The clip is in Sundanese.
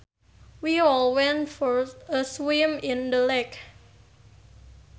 We all went for a swim in the lake